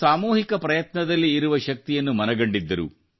ಸಾಮೂಹಿಕ ಪ್ರಯತ್ನದಲ್ಲಿ ಇರುವ ಶಕ್ತಿಯನ್ನು ಅವರು ಮನಗಂಡಿದ್ದರು